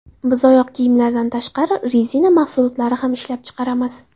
Biz oyoq kiyimlardan tashqari, rezina mahsulotlari ham ishlab chiqaramiz.